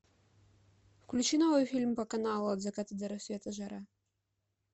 включи новый фильм по каналу от заката до рассвета жара